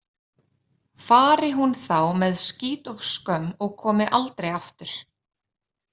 Fari hún þá með skít og skömm og komi aldrei aftur.